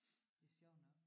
Det sjovt nok